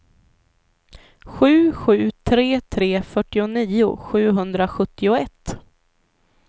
sju sju tre tre fyrtionio sjuhundrasjuttioett